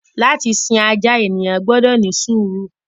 Látì sí àjà, ènìyàn gbọdọ ni súùrù.